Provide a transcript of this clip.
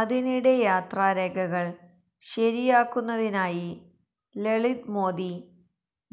അതിനിടെ യാത്രാരേഖകൾ ശരിയാക്കുന്നതിനായി ലളിത് മോദി